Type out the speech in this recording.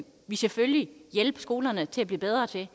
vi selvfølgelig hjælpe skolerne til at blive bedre til at